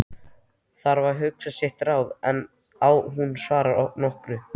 Þarf að hugsa sitt ráð áður en hún svarar nokkru.